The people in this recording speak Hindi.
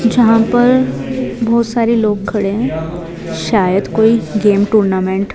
जहां पर बहोत सारे लोग खड़े हैं शायद कोई गेम टूर्नामेंट --